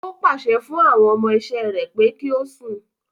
Ó pàṣẹ fún àwọn ọmọ iṣẹ́ rẹ̀ pé kí o sùn.